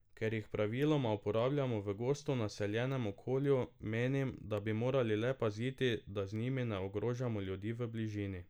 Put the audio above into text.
Ker jih praviloma uporabljamo v gosto naseljenem okolju, menim, da bi morali le paziti, da z njimi ne ogrožamo ljudi v bližini.